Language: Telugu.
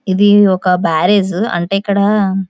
ఇది ఒక బ్యారేజ్ అంటే ఇక్కడ--